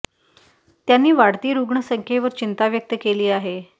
त्यांनी वाढती रुग्ण संख्येवर चिंता व्यक्त केली आहे